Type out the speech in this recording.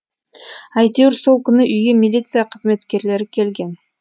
әйтеуір сол күні үйге милиция қызметкерлері келген